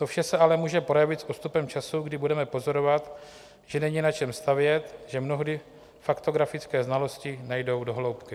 To vše se ale může projevit s odstupem času, kdy budeme pozorovat, že není na čem stavět, že mnohdy faktografické znalosti nejdou do hloubky.